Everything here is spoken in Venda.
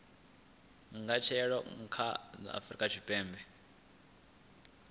angaredza kha a afurika tshipembe